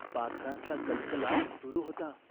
तिने पळसाची पाने पायांना बांधली. मोळी घेऊन ती गावात आली.